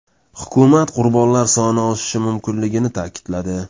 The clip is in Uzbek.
Hukumat qurbonlar soni oshishi mumkinligini ta’kidladi.